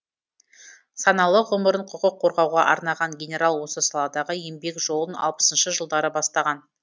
саналы ғұмырын құқық қорғауға арнаған генерал осы саладағы еңбек жолын алпысыншы жылдары бастаған